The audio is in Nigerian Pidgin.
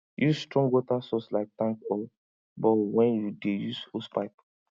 use strong water source like tank or borehole when you dey use hosepipe